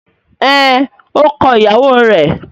Ẹn, ó kọ ìyàwó rẹ̀.